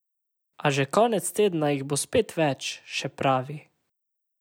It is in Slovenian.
A že konec tedna jih bo spet več, še pravi.